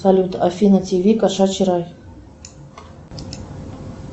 салют афина тв кошачий рай